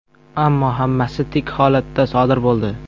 Ammo hammasi tik holatda sodir bo‘ldi.